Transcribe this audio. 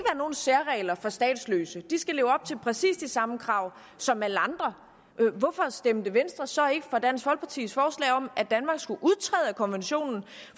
nogen særregler for statsløse de skal leve op til præcis de samme krav som alle andre hvorfor stemte venstre så ikke for dansk folkepartis forslag om at danmark skulle udtræde af konventionen